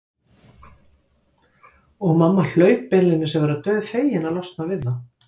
Og mamma hlaut beinlínis að vera dauðfegin að losna við þá.